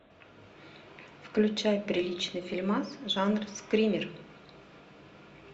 включай приличный фильмас жанр скример